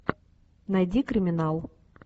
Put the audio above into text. найди криминал